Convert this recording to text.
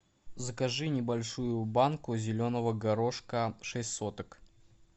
закажи небольшую банку зеленого горошка шесть соток